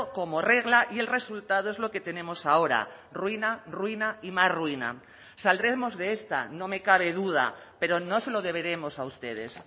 como regla y el resultado es lo que tenemos ahora ruina ruina y más ruina saldremos de esta no me cabe duda pero no se lo deberemos a ustedes